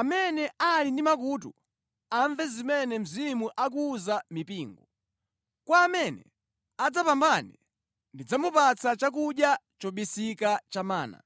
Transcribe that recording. Amene ali ndi makutu, amve zimene Mzimu akuwuza mipingo. Kwa amene adzapambane ndidzamupatsa chakudya chobisika cha mana.